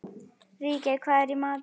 Ríkey, hvað er í matinn?